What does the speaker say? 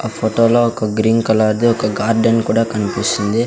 ఆ ఫోటోలో ఒక గ్రీన్ కలర్ ది ఒక గార్డెన్ కూడా కనిపిసుంది .